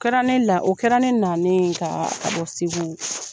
Kɛra ne la, o kɛra ne nalen ka bɔ Segu .